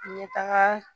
N bɛ taga